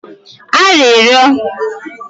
arịrịọ